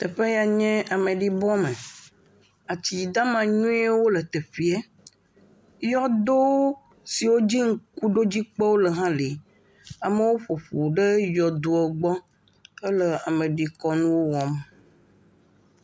teƒeya nye ameɖibɔ me atsi dama nyuiwo le tɛƒɛa yɔdo siwo dzi ŋukuɖodzi kpewo le hã li amowo ƒoƒu ɖe yɔdoɔ gbɔ hele ameɖi kɔnuwo wɔm